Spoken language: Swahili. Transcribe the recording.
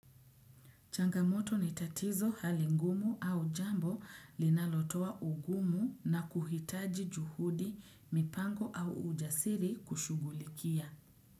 Changamoto ni tatizo hali ngumu au jambo linalotoa ugumu na kuhitaji juhudi mipango au ujasiri kushughulikia.